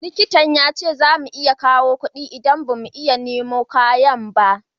Likitan ya ce za mu iya kawo kudi idan ba mu iya nemo kayan ba